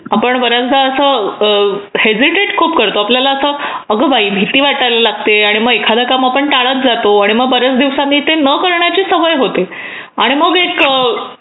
आपण बऱ्याचदा असं हेजिटेट खूप करतो आपण आपल्याला असं की ,"अगं बाई" भीती वाटायला लागते आणि मग एखादा काम आपण टाळत जातो आणि मग बरेच दिवसांनी ते न करायची सवय होते आणि मग एक..